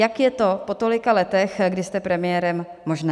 Jak je to po tolika letech, kdy jste premiérem, možné?